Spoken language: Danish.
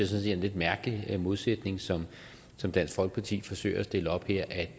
set er en lidt mærkelig modsætning som som dansk folkeparti forsøger at stille op her at